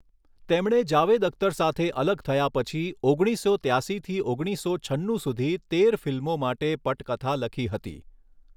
તેમણે જાવેદ અખ્તર સાથે અલગ થયા પછી ઓગણીસો ત્યાસીથી ઓગણીસો છન્નું સુધી તેર ફિલ્મો માટે પટકથા લખી હતી.